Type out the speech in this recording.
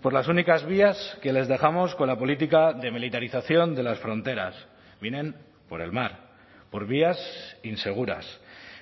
por las únicas vías que les dejamos con la política de militarización de las fronteras vienen por el mar por vías inseguras